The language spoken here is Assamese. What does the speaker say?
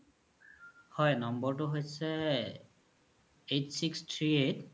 হয় নম্বৰতু হৈছে eight six three eight